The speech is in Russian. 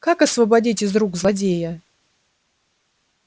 как освободить из рук злодея